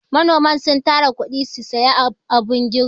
Manoman sun tara kuɗi su sayi abun girbi.